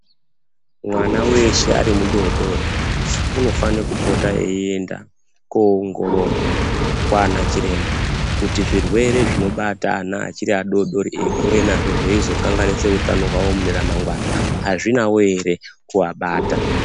Mwana weshe ari mudodori unofane kupota eienda koongororwa kwaana chiremba kuti zvirwere zvinobata ana achiri adodori eikure nazvo zveizokanganise utano hwavo muneremangwana hazvinawo ere kuabata.